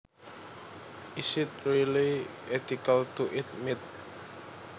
Is it really ethical to eat meat